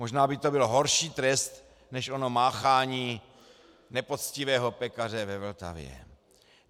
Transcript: Možná by to byl horší trest než ono máchání nepoctivého pekaře ve Vltavě.